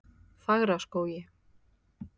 Fagraskógi